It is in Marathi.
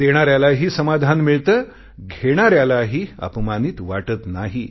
देणाऱ्यालाही समाधान मिळते घेणाऱ्यालाही अपमानित वाटत नाही